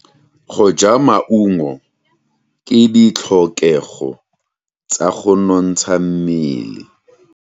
Go ja maungo ke ditlhokegô tsa go nontsha mmele.